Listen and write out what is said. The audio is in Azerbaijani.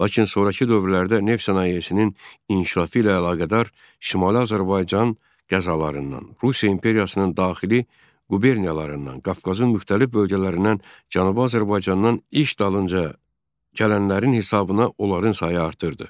Lakin sonrakı dövrlərdə neft sənayesinin inkişafı ilə əlaqədar Şimali Azərbaycan qəzalarından, Rusiya İmperiyasının daxili quberniyalarından, Qafqazın müxtəlif bölgələrindən, Cənubi Azərbaycandan iş dalınca gələnlərin hesabına onların sayı artırdı.